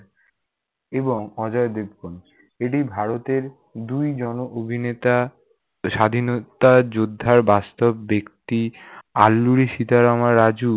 এবং অজয় দেবগন। এটি ভারতের দুই জনো অভিনেতা স্বাধীনতা যোদ্ধার বাস্তব ব্যক্তি আল্লুরি সিতারামারাজু